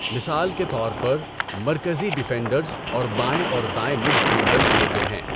مثال کے طور پر، مرکزی ڈفینڈرز اور بائیں اور دائیں مڈفیلڈرز ہوتے ہیں۔